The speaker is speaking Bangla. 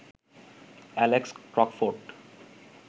Alex Crockford